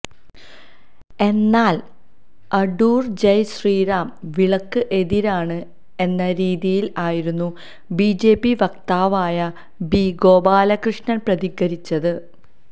എന്നാല് അടൂര് ജയ് ശ്രീറാം വിളിക്ക് എതിരാണ് എന്ന രീതിയില് ആയിരുന്നു ബിജെപി വക്താവായ ബി ഗോപാലകൃഷ്ണന് പ്രതികരിച്ചത്